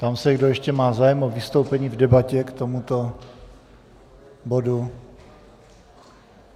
Ptám se, kdo ještě má zájem o vystoupení v debatě k tomuto bodu.